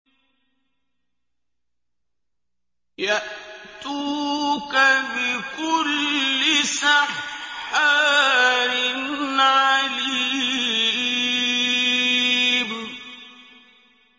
يَأْتُوكَ بِكُلِّ سَحَّارٍ عَلِيمٍ